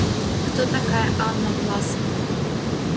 кто такая анна власова